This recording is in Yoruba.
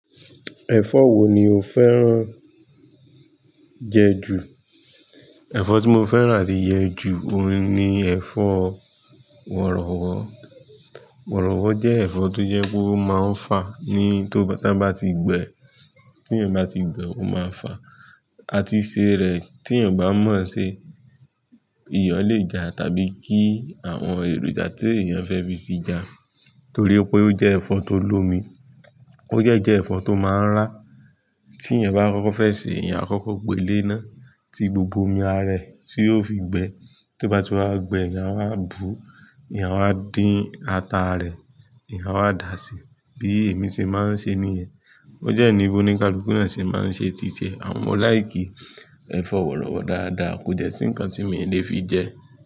Ẹ̀fọ́ wo ni o fẹ́ràn jẹ ju? Ẹ̀fọ́ tí mo fẹ́ràn àti jẹ ju oun ni ẹ̀fọ́ wọ̀rọ̀wọ̀. Wọ̀rọ̀wọ̀ jẹ́ ẹ̀fọ́ tó jẹ́ pe ó máa ń fà ní tó bá, tí ẹ́ bá ti gbẹ, tí ẹ́yan bá ti gbẹ e ó máa ń fà. Àti se ree tí ẹ̀yan o bá mọ̀ ṣe, ìyo le jà tàbí kí àwọn èròjà tí èèyàn fẹ́ fi sí ja. Torí pé ó jẹ́ ẹ̀fọ́ tó l'omi, ó de jẹ́ ẹ̀fọ́ tó máa ń rá. Tí ẹ̀yan bá fẹ́ koko ṣe, ẹ̀yan a kọ́kọ́ gbé e lé iná, ti gbogbo omi ara ẹ tí yóò fi gbẹ. Tí ó bá ti wá gbẹ ẹ̀yan a wa bú, ẹ̀yan a wa dín ata rẹ, ẹ̀yan a wa dà ṣi. Bí èmi ṣe máa ń ṣe nìyẹn. Ó de ní bi oníkàlùkù náà ṣe máa ń ṣe tìtití. Àmo mo like i ẹ̀fọ́ wọ̀rọ̀wọ̀ dáadáa kò dẹ́ sí nǹkan tí mo lè fi jẹ.